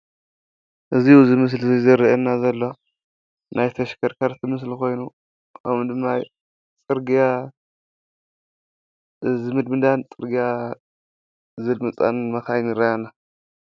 እዚ ኣብ ምስሊ እዚ ዘሪኤና ዘሎ ናይ ተሽከርከርቲ ምስሊ ኾይኑ ከምኡ ድማ ፅርግያ ዝምድምዳን ፅርግያ ዘልምፃን መኻይን ይረአያና፡፡